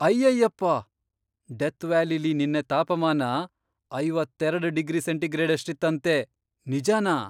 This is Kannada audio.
ಅಯ್ಯಯ್ಯಪ್ಪ! ಡೆತ್ ವ್ಯಾಲಿಲಿ ನೆನ್ನೆ ತಾಪಮಾನ ಐವತ್ತೆರೆಡ್ ಡಿಗ್ರಿ ಸೆಂಟಿಗ್ರೇಡಷ್ಟಿತ್ತಂತೆ, ನಿಜನಾ?!